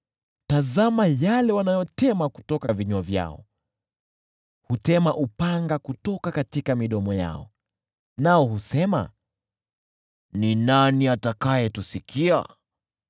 Tazama yale wanayotema kutoka vinywa vyao, hutema upanga kutoka midomo yao, nao husema, “Ni nani atakayetusikia?”